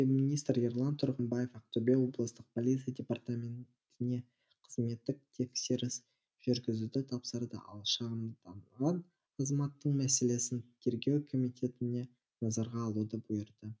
министр ерлан тұрғымбаев ақтөбе облыстық полиция департаментіне қызметтік тексеріс жүргізуді тапсырды ал шағымданған азаматтың мәселесін тергеу комитетіне назарға алуды бұйырды